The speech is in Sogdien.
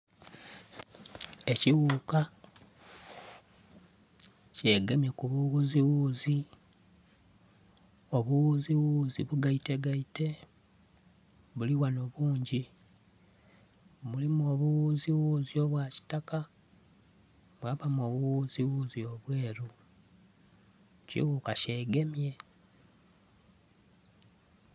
Ekiwuuka kye gemye ku biwuziwuzi. Obuwuziwuzi bugaite gaite buliwano bungi. Mulimu obuwuziwuzi obwa kitaka mwabamu obuwuziwuzi obweru. Ekiwuuka kye gemye.